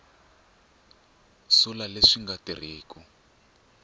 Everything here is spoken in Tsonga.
sula leswi swi nga tirhiku